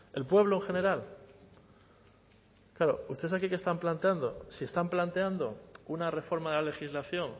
el pueblo en general claro ustedes aquí qué están planteando si están planteando una reforma de la legislación